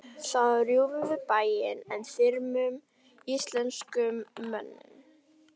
Þá rjúfum við bæinn en þyrmum íslenskum mönnum.